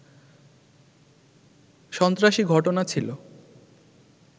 সন্ত্রাসী ঘটনা ছিল